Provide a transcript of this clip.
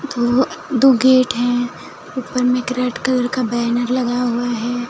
दो गेट है ऊपर में रेड कलर का बैनर लगा हुआ है।